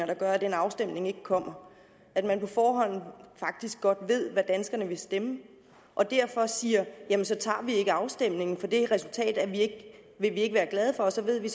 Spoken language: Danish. der gør at den afstemning ikke kommer at man på forhånd faktisk godt ved hvad danskerne vil stemme og derfor siger jamen så tager vi ikke afstemningen for det resultat vil vi ikke være glade for og så ved vi